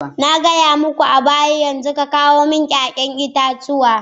Na gaya muku a baya yanzu ka kawo mani 'ya'yan itatuwa.